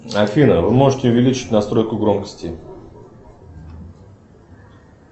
афина вы можете увеличить настройку громкости